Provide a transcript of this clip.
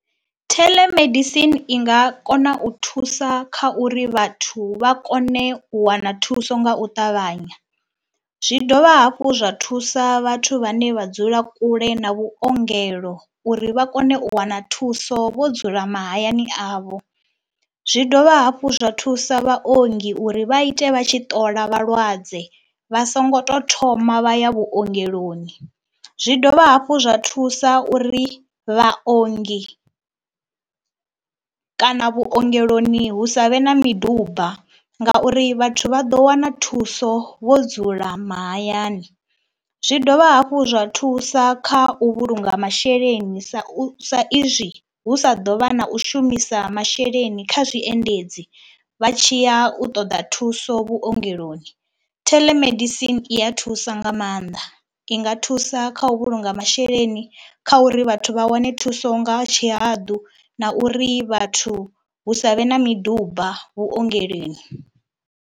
Theḽemedisini i nga kona u thusa kha uri vhathu vha kone u wana thuso nga u ṱavhanya, zwi dovha hafhu zwa thusa vhathu vhane vha dzula kule na vhuongelo uri vha kone u wana thuso vho dzula mahayani avho. Zwi dovha hafhu zwa thusa vhaongi uri vha ite vha tshi ṱola vhalwadze vha songo tou thoma vha ya vhuongeloni, zwi dovha hafhu zwa thusa uri vhaongi kana vhuongeloni hu sa vhe na miduba ngauri vhathu vha ḓo wana thuso vho dzula mahayani. Zwi dovha hafhu zwa thusa kha u vhulunga masheleni sa u sa izwi hu sa ḓo vha na u shumisa masheleni kha zwiendedzi vha tshi ya u ṱoda thuso vhuongeloni. Theḽemedisini i ya thusa nga maanḓa, i nga thusa kha u vhulunga masheleni kha uri vhathu vha wane thuso nga tshihaḓu na uri vhathu hu sa vhe na miduba vhuongeloni.